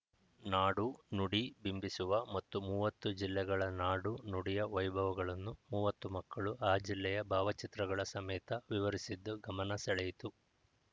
ನಾಡು ನುಡಿ ಬಿಂಬಿಸುವ ಮತ್ತು ಮೂವತ್ತು ಜಿಲ್ಲೆಗಳ ನಾಡು ನುಡಿಯ ವೈಭವಗಳನ್ನು ಮೂವತ್ತು ಮಕ್ಕಳು ಆ ಜಿಲ್ಲೆಯ ಭಾವಚಿತ್ರಗಳ ಸಮೇತ ವಿವರಿಸಿದ್ದು ಗಮನ ಸೆಳೆಯಿತು